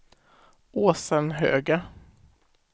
Åsenhöga